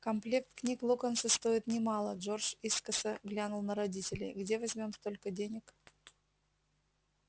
комплект книг локонса стоит немало джордж искоса глянул на родителей где возьмём столько денег